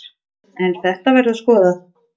En þetta verður skoðað.